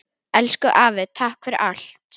Elsku afi takk fyrir allt.